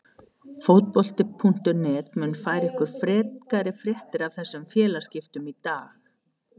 Fótbolti.net mun færa ykkur frekari fréttir af þessum félagaskiptum í dag.